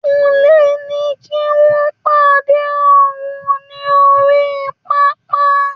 Kunle ní kí wọ́n pàdé òun ní orí pápá.